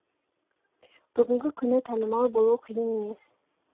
бүгінгі күні танымал болу қиын емес